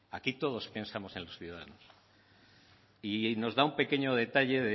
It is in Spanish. aquí todos pensamos en los ciudadanos y nos da un pequeño detalle